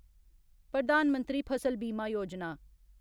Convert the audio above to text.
प्रधान मंत्री फसल बीमा योजना